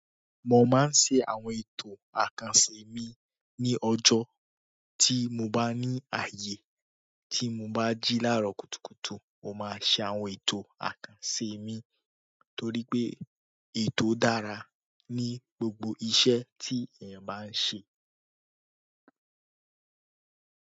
Mo máa ń ṣe àwọn ẹ̀tọ́ àkànṣe mi ní ọjọ́ tí mo bá ní ààyè. Tí mo bá jí láàrọ̀ kùtùkùtù mo má ṣe àwọn ètò àkànṣe mi, torí ètò dára ní gbogbo iṣẹ́ tí eyan bá ń ṣe.